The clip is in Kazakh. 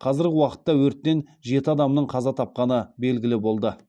қазіргі уақытта өрттен жеті адамның қаза тапқаны белгілі болды